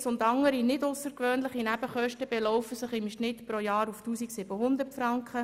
Heiz- und andere nicht aussergewöhnliche Nebenkosten belaufen sich im Schnitt pro Jahr auf 1700 Franken;